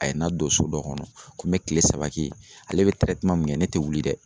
A ye n ladon so dɔ kɔnɔ ,ko n be kile saba kɛ yen. Ale be min kɛ ne te wuli dɛ.